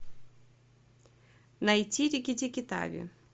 найти рикки тикки тави